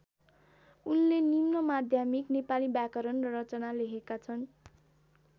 उनले निम्नमाध्यमिक नेपाली व्याकरण र रचना लेखेका छन्।